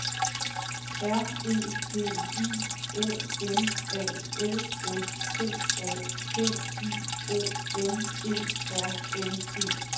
R E G I O N A L S T A T I O N E R N E